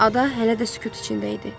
Ada hələ də sükut içində idi.